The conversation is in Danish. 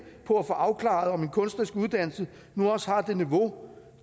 på at få afklaret om en kunstnerisk uddannelse nu også har et niveau